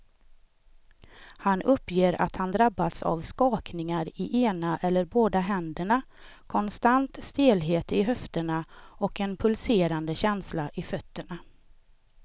Han uppger att han drabbas av skakningar i ena eller båda händerna, konstant stelhet i höfterna och en pulserande känsla i fötterna.